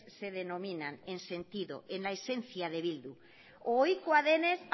se denominan en sentido en la esencia de bildu ohikoa denez